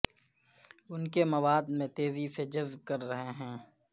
ان کے مواد میں تیزی سے جذب کر رہے ہیں